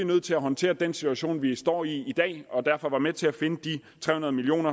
nødt til at håndtere den situation vi står i i dag og derfor var med til at finde de tre hundrede million